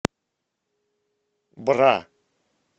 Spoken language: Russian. бра